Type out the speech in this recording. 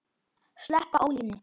Sleppa ólinni.